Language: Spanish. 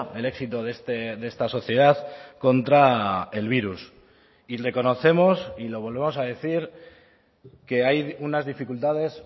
el éxito de esta sociedad contra el virus y reconocemos y lo volvemos a decir que hay unas dificultades